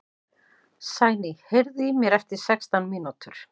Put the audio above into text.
Sæný, heyrðu í mér eftir sextán mínútur.